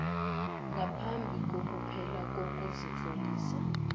ngaphambi kokuphela kokuzitlolisa